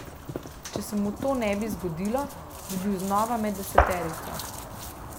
Če se mu to ne bi zgodilo, bi bil znova med deseterico.